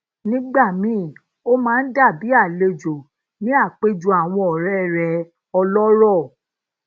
nígbà míì ó máa ń dabi alejo ni apejo awon ore re ọlórò